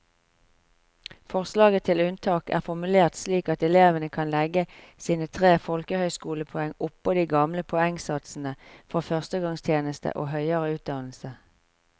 Forslaget til unntak er formulert slik at elevene kan legge sine tre folkehøyskolepoeng oppå de gamle poengsatsene for førstegangstjeneste og høyere utdannelse.